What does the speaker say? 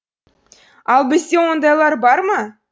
ал бізде ондайлар бар ма